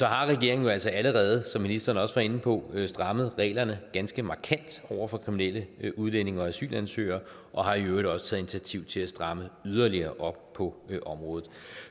har regeringen altså allerede som ministeren også var inde på strammet reglerne ganske markant over for kriminelle udlændinge og asylansøgere og har i øvrigt også taget initiativ til at stramme yderligere på området